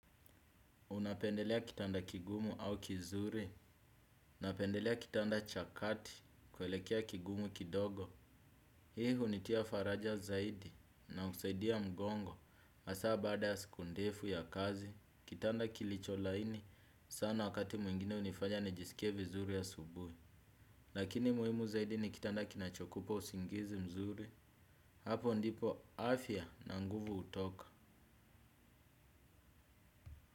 Unapendelea kitanda kigumu au kizuri, napendelea kitanda cha kati kuelekea kigumu kidogo. Hii hunitia faraja zaidi na husaidia mgongo. Masaa baada ya siku ndefu ya kazi, kitanda kilicho laini sana wakati mwingine hunifanya nijisikie vizuri asubui. Lakini muhimu zaidi ni kitanda kinachokupa usingizi mzuri. Hapo ndipo afya na nguvu hutoka.